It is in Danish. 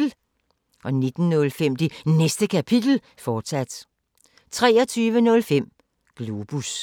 19:05: Det Næste Kapitel, fortsat 23:05: Globus